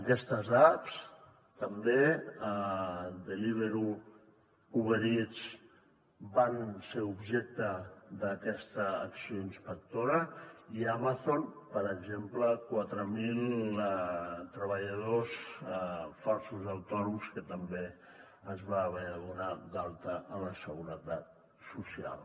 aquestes apps també deliveroo uber eats van ser objecte d’aquesta acció inspectora i amazon per exemple quatre mil treballadors falsos autònoms que també es van haver de donar d’alta a la seguretat social